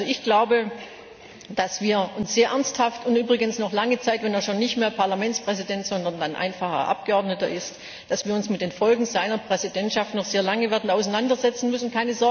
Ich glaube, dass wir uns sehr ernsthaft und übrigens noch lange Zeit, wenn er schon nicht mehr Parlamentspräsident, sondern einfacher Abgeordneter ist, mit den Folgen seiner Präsidentschaft werden auseinandersetzen müssen.